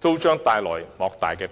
將帶來莫大的裨益。